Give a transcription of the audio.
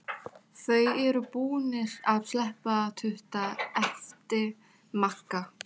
Þeir eru búnir að sleppa tudda! æpti Magga.